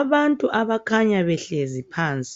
Abantu abakhanya behlezi phansi,